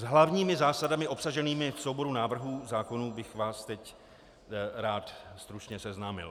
S hlavními zásadami obsaženými v souboru návrhů zákonů bych vás teď rád stručně seznámil.